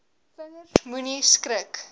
vingers moenie skrik